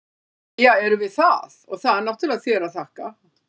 Jæja, erum við það, og það er náttúrlega þér að þakka!